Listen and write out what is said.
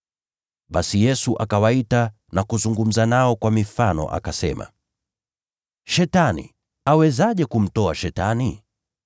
Basi Yesu akawaita na kuzungumza nao kwa mifano akasema: “Shetani awezaje kumtoa Shetani?